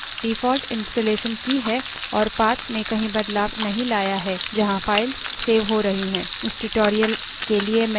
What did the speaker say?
मैं ये मानती हूँ कि आपने default installation की है और path में कहीं बदलाव नहीं लाया है जहाँ files सेव हो रही हैं